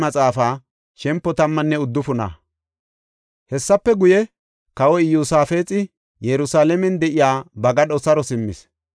Hessafe guye, kawoy Iyosaafexi Yerusalaamen de7iya ba gadho saro simmis.